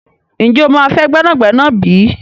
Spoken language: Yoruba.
Ǹjẹ́ o máa fẹ́ gbẹ́nàgbẹ́nà bí?